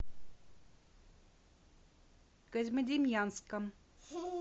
козьмодемьянском